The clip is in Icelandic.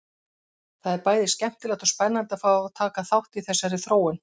Það er bæði skemmtilegt og spennandi að fá að taka þátt í þessari þróun!